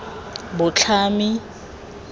botlhami